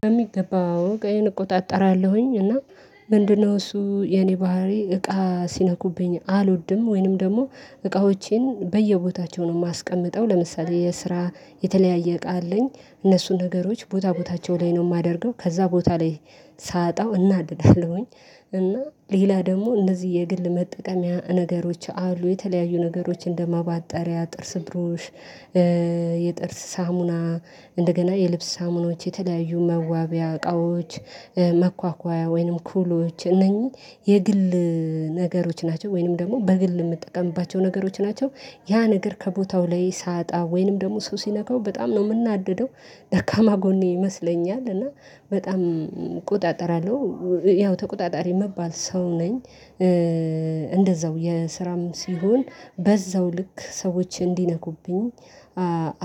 በሚገባ አዎ እቃየን እቆጣጠራለሁኝ እና ምንድን ነው እሱ የኔ ባህሪ እቃ ሲነኩብኝ አልወድም ወይንም ደግሞ እቃዎቼን በየቦታቸው ነው ማስቀምጠው ለምሳሌ የስራ የተለያየ እቃ አለኝ እነሱን ነገሮች ቦታ ቦታቸው ላይ ነው የማደርገው ከዛ ቦታ ላይ ሳጣው እናድዳለሁኝ እና ሌላ ደግሞ እነዚህ የግል መጠቀሚያ ነገሮች አሉ የተለያዩ ነገሮች እንደ እንደማበጠሪያ ጥርስ ብሩሽ። የጥርስ ሳሙና እንደገና የልብስ ሳሙናዎች የተለያዩ መዋቢያ እቃዎች መኳኳያ ወይንም ኩሎች እነኚህ የግል ነገሮች ናቸው ወይንም ደግሞ በግል ምጠቀምባቸው ነገሮች ናቸው። ያ ነገር ከቦታው ላይ ሳጣ ወይንም ደግሞ ሰው ሲነካው በጣም ነው ምናደደው ደካማ ጎኔ ይመስለኛል እና በጣም እቆጣጠራለሁ። ያው ተቆጣጣሪ ምባል ሰው ነኝ። እንደዛው የስራም ሲሆን በዛው ልክ ሰዎችን እንዲነኩብኝ